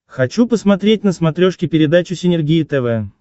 хочу посмотреть на смотрешке передачу синергия тв